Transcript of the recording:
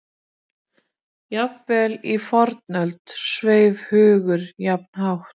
Jafnvel í fornöld sveif hugur jafn hátt.